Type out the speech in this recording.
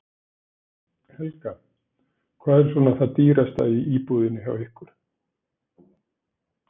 Helga: Hvað er svona það dýrasta í búðinni hjá ykkur?